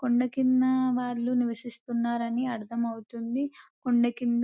కొండకింద వాళ్లు నివసిస్తున్నారని అర్థమవుతుంది కొండ కింద --